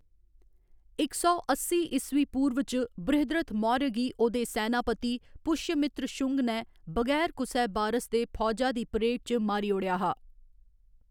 इक सौ अस्सी ईस्वी पूर्व च, बृहद्रथ मौर्य गी ओह्‌‌‌दे सैनापति पुश्यमित्र शुंग ने बगैर कुसै बारस दे फौजा दी परेड च मारी ओड़ेआ हा।